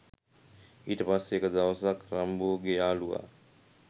ඊට පස්සේ එක දවසක් රම්බෝගේ යාලුවා